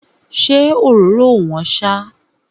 Ṣé òróró ò wọ́n ṣá?